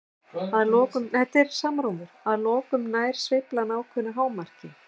Að lokum nær sveiflan ákveðnu hámarki.